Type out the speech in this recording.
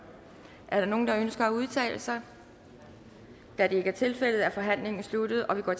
der nogen der ønsker at udtale sig da det ikke er tilfældet er forhandlingen sluttet og vi går